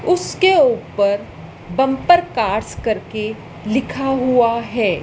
उसके ऊपर bumper cards करके लिखा हुआ है।